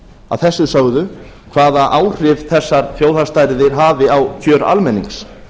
að þessu sögðu hvaða áhrif þessar þjóðhagsstærðir hafi á kjör almennings